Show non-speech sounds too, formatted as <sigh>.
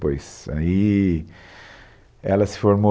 <unintelligible> Aí, ela se formou